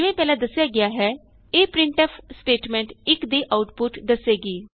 ਜਿਵੇਂ ਪਹਿਲਾਂ ਦੱਸਿਆ ਗਿਆ ਹੈ ਇਹ ਪ੍ਰਿੰਟਫ ਸਟੇਟਮੈਂਟ 1 ਦੀ ਆਉਟਪੁਟ ਦਸੇਗੀ